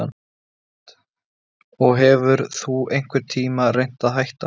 Hödd: Og hefur þú einhvern tímann reynt að hætta?